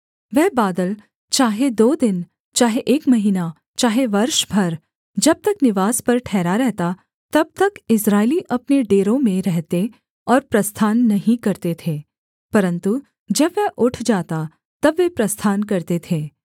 वह बादल चाहे दो दिन चाहे एक महीना चाहे वर्ष भर जब तक निवास पर ठहरा रहता तब तक इस्राएली अपने डेरों में रहते और प्रस्थान नहीं करते थे परन्तु जब वह उठ जाता तब वे प्रस्थान करते थे